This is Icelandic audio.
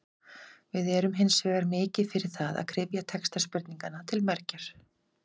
Við erum hins vegar mikið fyrir það að kryfja texta spurninganna til mergjar.